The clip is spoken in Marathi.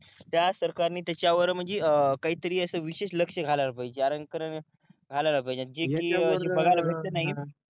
त्या सरकार ने त्याच्यावर म्हणजे अं काहीतरी असं विशिष्ठ लक्ष घालायला पाहिजे जे कि बघायला भेटत नाही